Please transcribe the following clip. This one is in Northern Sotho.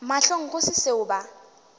mahlong go se seo ba